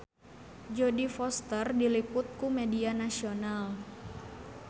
Jodie Foster diliput ku media nasional